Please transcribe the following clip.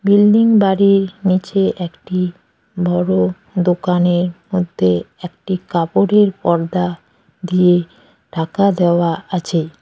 Building বাড়ির নিচে একটি বড় দোকানের মধ্যে একটি কাপড়ের পর্দা দিয়ে ঢাকা দেওয়া আছে।